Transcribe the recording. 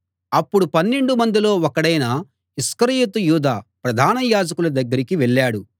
అప్పుడు పన్నెండు మందిలో ఒకడైన ఇస్కరియోతు యూదా ప్రధాన యాజకుల దగ్గరికి వెళ్ళాడు